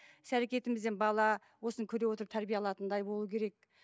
іс әрекетімізден бала осыны көре отырып тәрбие алатындай болуы керек